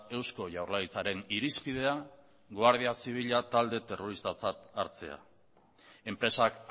eusko jaurlaritzaren irizpidea guardia zibila talde terroristatzat hartzea enpresak